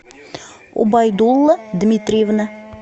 убайдулла дмитриевна